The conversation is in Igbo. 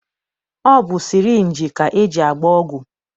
Ọ bụ sịrịnjị ka e ji agba ọgwụ.